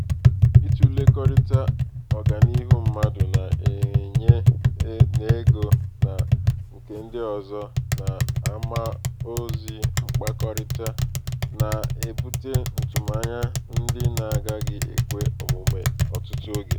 ịtụlekọrịta ọganiihu mmadụ na-enwe n'ego na nke ndị ọzọ n'amaozi mkpakọrịta na-ebute ntụmanya ndị na-agaghị ekwe omume ọtụtụ oge.